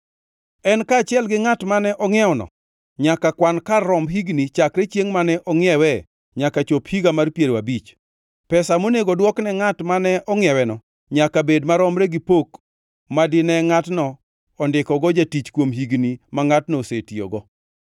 En kaachiel gi ngʼat mane ongʼieweno nyaka kwan kar romb higni chakre chiengʼ mane ongʼiewe nyaka chop higa mar piero abich. Pesa monego dwokne ngʼat mane ongʼieweno nyaka bed maromre gi pok ma dine ngʼatno ondikogo jatich kuom higni ma ngʼatno osetiyogo.